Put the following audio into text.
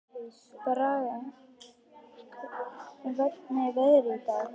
Braga, hvernig er veðrið í dag?